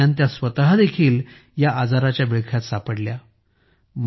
या दरम्यान त्या स्वतःदेखील या आजाराच्या विळख्यात सापडल्या